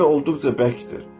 Yer olduqca bərkdir.